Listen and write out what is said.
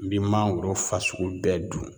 N bi mangoro fasugu bɛɛ dun